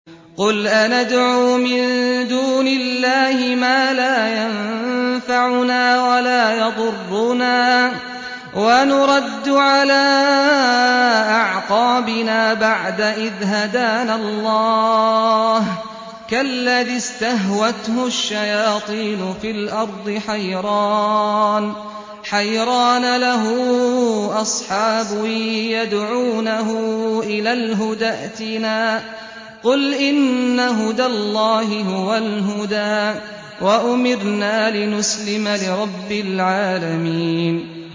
قُلْ أَنَدْعُو مِن دُونِ اللَّهِ مَا لَا يَنفَعُنَا وَلَا يَضُرُّنَا وَنُرَدُّ عَلَىٰ أَعْقَابِنَا بَعْدَ إِذْ هَدَانَا اللَّهُ كَالَّذِي اسْتَهْوَتْهُ الشَّيَاطِينُ فِي الْأَرْضِ حَيْرَانَ لَهُ أَصْحَابٌ يَدْعُونَهُ إِلَى الْهُدَى ائْتِنَا ۗ قُلْ إِنَّ هُدَى اللَّهِ هُوَ الْهُدَىٰ ۖ وَأُمِرْنَا لِنُسْلِمَ لِرَبِّ الْعَالَمِينَ